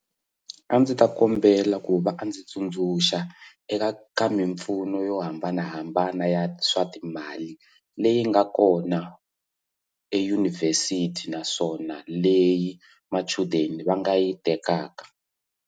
A ndzi ta kombela ku va a ndzi tsundzuxa eka ka mimpfuno yo hambanahambana ya swa timali leyi nga kona edyunivhesiti naswona leyi machudeni va nga yi tekaka.